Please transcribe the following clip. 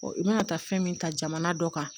i mana taa fɛn min ta jamana dɔ kan